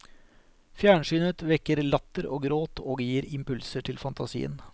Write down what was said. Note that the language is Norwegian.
Fjernsynet vekker latter og gråt og gir impulser til fantasien.